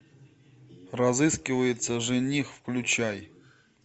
разыскивается жених включай